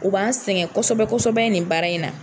U b'an sɛgɛn kosɛbɛ kosɛbɛ nin baara in na.